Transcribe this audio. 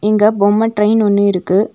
இங்க பொம்ம ட்ரெயின் ஒன்னு இருக்கு.